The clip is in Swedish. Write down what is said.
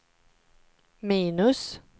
minus